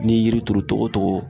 N'i ye yiri turu togo togo